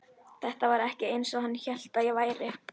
Þetta var ekki eins og hann hélt að það væri.